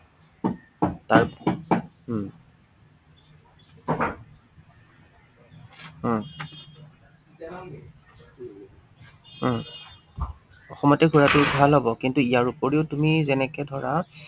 তাৰ উম উম উম অসমতে ঘুৰাতো ভাল হব, কিন্তু ইয়াৰোপৰি তুমি যেনেকে ধৰা